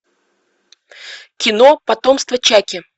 кино потомство чаки